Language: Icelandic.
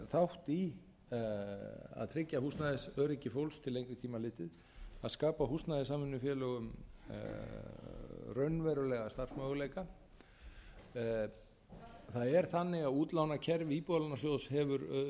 þátt í að tryggja húsnæðisöryggi fólks til lengri tíma litið að skapa húsnæðissamvinnufélögum raunverulega starfsmöguleika það er þannig að útlánakerfi íbúðalánasjóðs hefur byggst upp